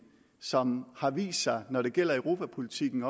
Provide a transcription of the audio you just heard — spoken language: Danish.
som har vist sig når det gælder europapolitikken